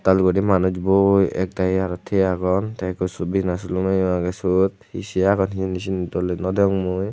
ektal guri manuj boi ekdagi aro tigey agon tey ekko bina silumeyo agey syot he sei agon hijeni syeni doley naw degong mui.